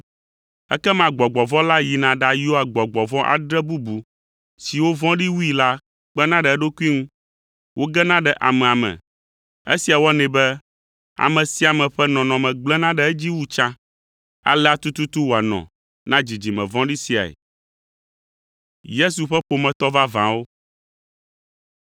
Ekema gbɔgbɔ vɔ̃ la yina ɖayɔa gbɔgbɔ vɔ̃ adre bubu siwo vɔ̃ɖi wui la kpena ɖe eɖokui ŋu, wogena ɖe amea me. Esia wɔnɛ be ame sia ƒe nɔnɔme gblẽna ɖe edzi wu tsã. Alea tututu wòanɔ na dzidzime vɔ̃ɖi siae.”